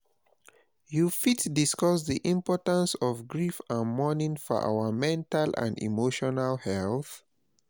You fit discuss di importance of grief and mourning for our mental and emotional health?